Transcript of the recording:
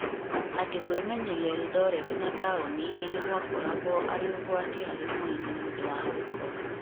atĩ kũĩmenyeria Eldoret na taũni ingĩ nĩ gwakoragwo arĩ ũgwati harĩ mwĩrĩ nĩũndũ wa gĩko.